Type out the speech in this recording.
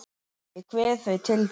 Ég kveð þau til þín.